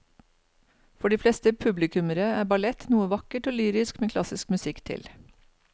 For de fleste publikummere er ballett noe vakkert og lyrisk med klassisk musikk til.